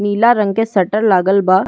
नीला रंग के शटर लागल बा।